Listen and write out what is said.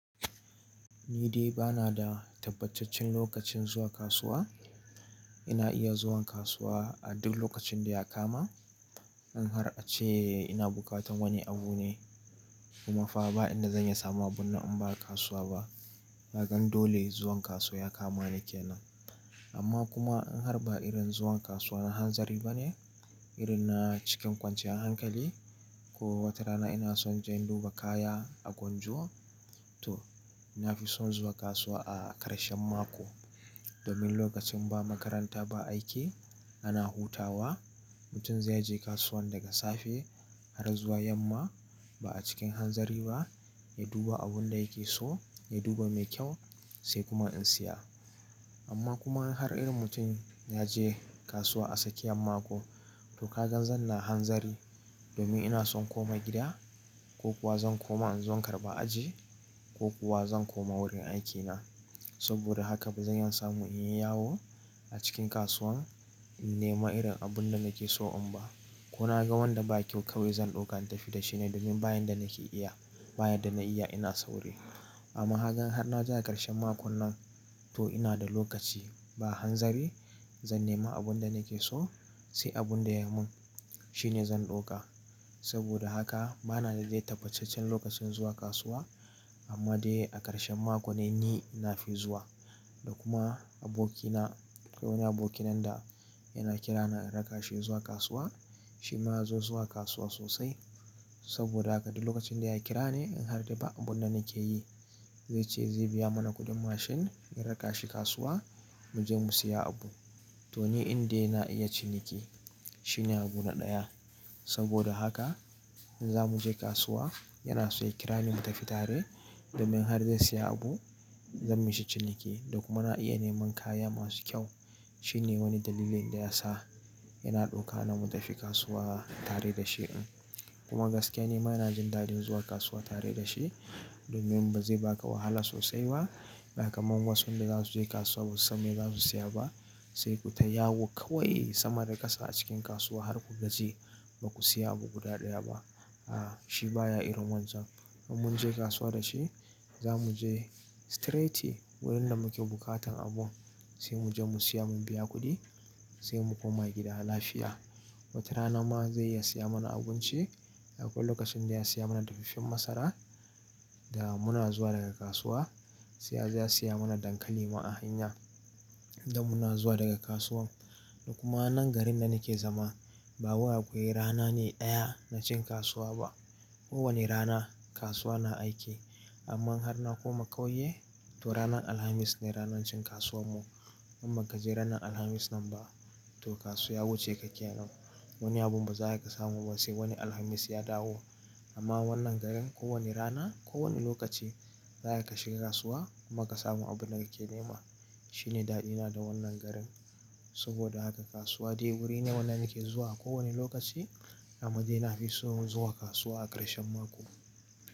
Ni dai ba na da tabbacaccen lokacin zuwa kasuwa. Ina iya zuwan kasuwa a duk lokacin da ya kama. In har a ce ina bukatan wani abu ne kuma fa ba ina zan iya samawa ba in ba kasuwa ba. Zagan dole zuwan kasuwa ya kama ni kenan. Amma kuma in har ba irin zuwan kasuwa na hanzari ba ne, irin na cikin kwanciyan hankali ko wata rana ina son je in duba kaya a gwanjo to ina fi son zuwa kasuwa a ƙarshen mako. Domin lokacin ba makaranta ba aiki ana hutawa, mutum zai je kasuwan daga safe har zuwa yamma ba a cikin hanzari ba, ya duba abun da yake so, ya duba me kyau sai kuma in siya. Amma kuma in har irin mutum ya je kasuwa a tsakiyan mako to ka ga zan na hanzari domin ina son koma gida ko kuwa zan koma in zo in karɓa aji ko kuwa zan koma wurin aikina. Saboda haka ba zan iya samu in yi yawo a cikin kasuwan in nema irin abun da nake so in ba. Ko na ga wanda ba kyau kawai zan ɗauka in tafi da shi ne domin bayan da nake iya, bayan da na iya ina sauri. Amma kaga har na ja a ƙarshen makon nan to ina da lokaci ba hanzari zan nema abun da nake so sai abun da ya mun shine zan ɗauka. Saboda haka ba na da dai tabbacaccen lokacin zuwa kasuwa amma dai a ƙarshen mako ne ni na fi zuwa. Da kuma abokina, akwai wani aboki nan da yana kira na in raka shi zuwa kasuwa. Shi ma ya zo zuwa kasuwa sosai saboda haka duk lokacin da ya kira ni in har dai ba abun da nake yi zai ce zai biya mana kuɗin mashin ya raka shi kasuwa mu je mu siya abu. To ni in dai na iya ciniki shine abu na ɗaya. Saboda haka in za mu je kasuwa yana so ya kira ni mu tafi tare domin har zai siya abu zan mishi ciniki da kuma na iya neman kaya masu kyau. Shine wani dalilin da ya sa yana ɗauka na mu tafi kasuwa tare da shi. Kuma gaskiya ni ma ina jin daɗin zuwa kasuwa tare da shi domin bai zai baka wahala sosai ba. Da kaman wasun da za su je kasuwa ba su san me za su siya ba sai ku ta yawo kawai sama da ƙasa a cikin kasuwa har ku gaji ba ku siya abu guda ɗaya ba. A, shi baya iron wancan. In mun je kasuwa da shi za mu je straight wurin da muke bukatan abun sai mu je mu siya, mun biya kuɗi sai mu koma gida lafiya. Wata rana ma zai iya siya mana abinci. Akwai lokacin da ya siya mana daffafen masara da muna zuwa daga kasuwa sai ya je ya siya mana dankali ma a hanya da muna zuwa daga kasuwan. Da kuma nan garin da nake zama ba wai akwai rana ne ɗaya na cin kasuwa ba. Ko wane rana kasuwa na aiki. Amma in har na koma ƙauye to ranar Alhamis ne ranar cin kasuwan mu. Amma ka je ranar Alhamis nan ba to kasuwa ya wuce ka kenan. Wani abu baza ka samu ba sai wani Alhamis ya dawo. Amma wannan garin ko wane rana ko wane lokaci za ka shiga kasuwa kuma ka samu abun da kake nema. Shine daɗi na da wannan garin. Saboda haka kasuwa dai wuri ne wanda nake zuwa ko wane lokaci amma dai na fi so zuwa kasuwa a ƙarshen mako.